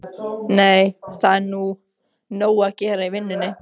Nei, það er nóg að gera í vinnunni.